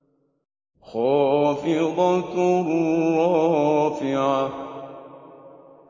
خَافِضَةٌ رَّافِعَةٌ